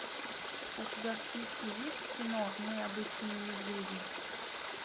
у тебя в списке есть кино мы обычные медведи